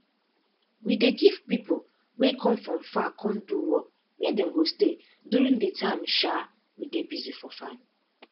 we dey give pipo wey come from far come do work where dem go stay during de time um we dey busy for farm